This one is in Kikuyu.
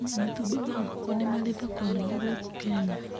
Matumbĩ ma nguũkũ nĩ marĩ thoko nene gũkũ Kenya.